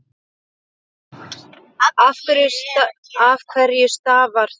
Af hverju stafar það?